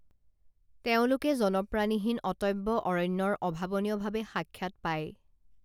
তেওঁলোকে জনপ্ৰাণীহীন অটব্য অৰণ্যৰ অভাৱনীয়ভাৱে সাক্ষাৎ পায়